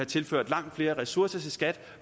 tilført langt flere ressourcer til skat